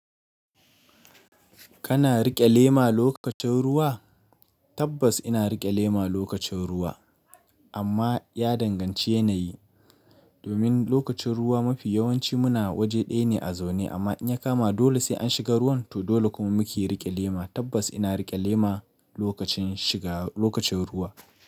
Kana riƙe lema lokacin ruwa? Tabbas ina riƙe lema lokacin ruwa amma ya danganci yanayi. Domin lokacin ruwa mafi yawanci muna waje ɗaya ne a zaune amma in ya kama dole sai an shiga ruwan to dole kuma mu ke riƙe lema. Tabbas ina riƙe lema lokacin shiga lokacin ruwa.